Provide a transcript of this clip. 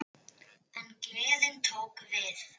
En gleðin tók við.